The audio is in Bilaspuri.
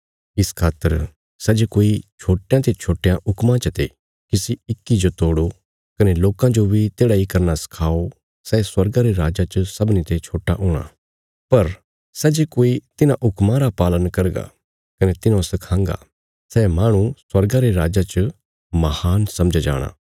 इस खातर सै जे कोई छोट्टयां ते छोट्टयां हुक्मां चते किसी इक्की जो तोड़ो कने लोकां जो बी तेढ़ा इ करना सखाओ सै स्वर्गा रे राज्जा च सबनीं ते छोट्टा हूणा पर सै जे कोई तिन्हां हुक्मां रा पालन करगा कने तिन्हौ सखांगा सै माहणु स्वर्गा रे राज्जा च महान समझया जाणा